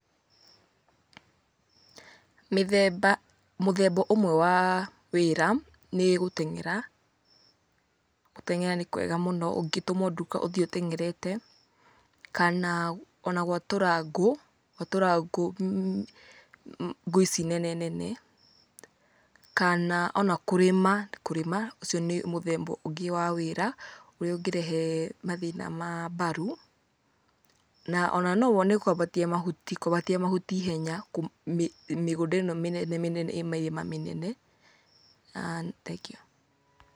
Mĩthemba mũthemba ũmwe waa wĩra nĩ gũteng'era. Gũteng'era nĩ kwega mũno, ũngĩtũmwo nduka ũthiĩ ũteng'erete, kana ona gwatũra ngũ, gwatũra ngũ, ngũ ici nene nene, kana ona kũrĩma, kũrĩma ũcio nĩ mũthemba ũngĩ wa wĩra, ũrĩa ũngĩrehe mathĩna ma mbaru. Na ona no wone kwambatia mahuti, kwambatia mahuti ihenya mĩgũnda ĩno mĩnene mĩnene ĩ mĩrĩma mĩnene. Thengiũ.